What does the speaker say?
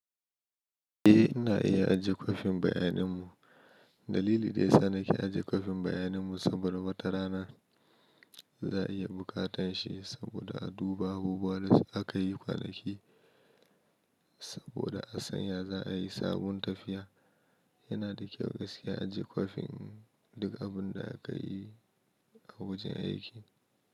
Eh, ina iya ajiye kwafin bayaninmu. Dalili daya sa nake ajiye kwafin bayaninmu saboda wata rana za a iya bukatan shi saboda a duba abubuwa da akayi kwana ki saboda a sanya za a yi sabon tafiya. Yana da kyau gaskiya ajiye kwafin duk abun da aka yi a wajen aiki.